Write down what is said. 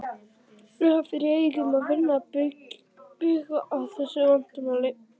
Er það fyrir augum að vinna bug á þessu vandamáli?